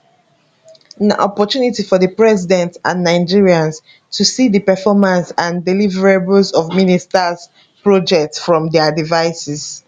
na opportunity for di president and nigerians to see di performance and deliverables of ministers projects from dia devices